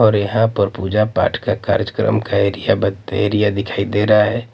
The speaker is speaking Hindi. और यहां पर पूजा पाठ का कार्यक्रम का एरिया एरिया दिखाई दे रहा है।